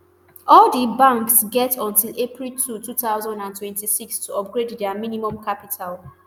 all di banks get until april two thousand and twenty-six to upgrade dia minimum capital